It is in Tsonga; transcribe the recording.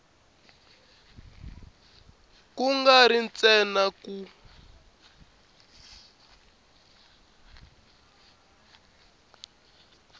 ku nga ri ntsena ku